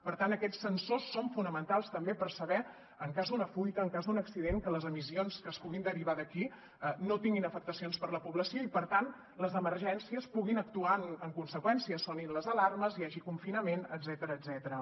per tant aquests sensors són fonamentals també per saber en cas d’una fuita en cas d’un accident que les emissions que es puguin derivar d’aquí no tinguin afectacions per a la població i per tant les emergències puguin actuar en conseqüència sonin les alarmes hi hagi confinament etcètera